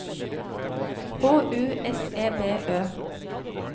H U S E B Ø